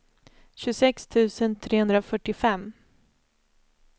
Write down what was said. tjugosex tusen trehundrafyrtiofem